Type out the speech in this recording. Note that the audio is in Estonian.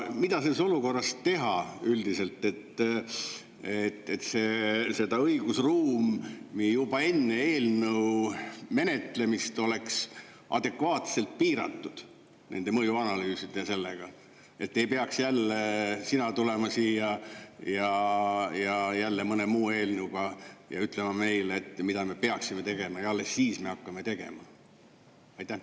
Mida selles olukorras teha, et õigusruum juba enne eelnõu menetlemist oleks adekvaatselt piiratud nende mõjuanalüüsidega ja sina ei peaks tulema siia mõne muu eelnõuga ja ütlema, mida me peaksime tegema, ja alles siis me hakkame tegema?